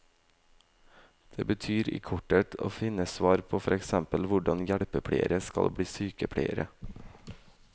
Det betyr i korthet å finne svar på for eksempel hvordan hjelpepleiere skal bli sykepleiere.